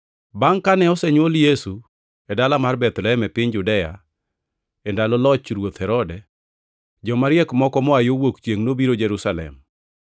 Bangʼ kane osenywol Yesu e dala mar Bethlehem e piny Judea, e ndalo loch Ruoth Herode, Joma Riek + 2:1 Joma Riek: Loko moko luongogi ni Ajuoke. moko moa yo wuok chiengʼ nobiro Jerusalem,